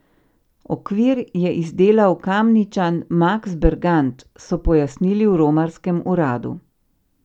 Okvir je izdelal Kamničan Maks Bergant, so pojasnili v romarskem uradu.